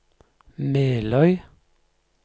Meløy